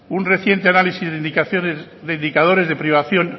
un reciente análisis de indicadores de privación